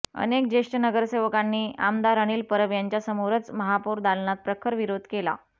अनेक ज्येष्ठ नगरसेवकांनी आमदार अनिल परब यांच्यासमोरच महापौर दालनात प्रखर विरोध केला